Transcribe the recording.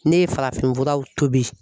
Ne ye farafinfuraw tobi